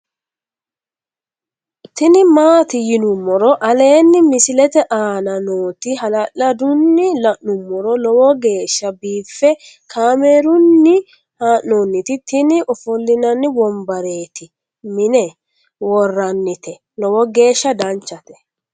tini maati yinummoro aleenni misilete aana nooti hala'ladunni la'nummoro lowo geeshsha biiffe kaamerunni haa'nooniti tini ofollinanni wombareti mine worrannite lowo geshsha danchate